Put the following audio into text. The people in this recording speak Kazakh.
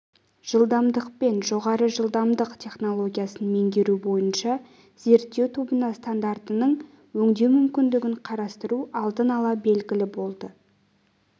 жылдамдықпен жоғары жылдамдық технологиясын меңгеру бойынша зерттеу тобына стандартының өңдеу мүмкіндігін қарастыру алдын ала белгілі болды